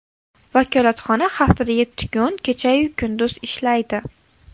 Vakolatxona haftada yetti kun, kecha-yu kunduz ishlaydi.